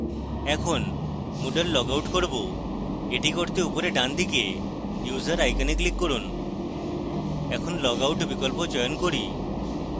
এখন moodle log out করব এটি করতে উপরের ডানদিকে user icon click করুন এখন log out বিকল্প চয়ন করুন